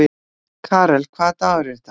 Karel, hvaða dagur er í dag?